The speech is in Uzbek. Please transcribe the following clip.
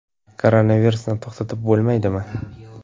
Koronavirusni to‘xtatib bo‘lmaydimi?